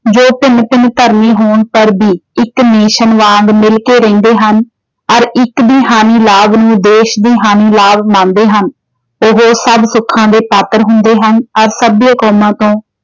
ਜੋ ਭਿੰਨ-ਭਿੰਨ ਧਰਮੀ ਹੋਣ ਪਰ ਵੀ ਇੱਕ nation ਵਾਂਗ ਮਿਲ ਕੇ ਰਹਿੰਦੇ ਹਨ। ਅਤੇ ਇੱਕ ਵੀ ਹਾਨੀ ਲਾਭ ਨੂੰ ਦੇਸ਼ ਦੀ ਹਾਨੀ ਲਾਭ ਮੰਨਦੇ ਹਨ, ਉਹ ਸਭ ਸੁੱਖਾਂ ਦੇ ਪਾਤਰ ਹੁੰਦੇ ਹਨ। ਅਤੇ ਸਭ ਕੌਮਾਂ ਤੋਂ